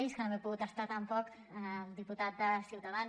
i és que no me n’he pogut estar tampoc diputat de ciutadans